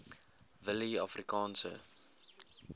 willieafrikaanse